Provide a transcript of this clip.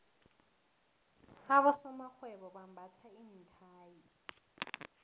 abosomarhwebo bambatha iinthayi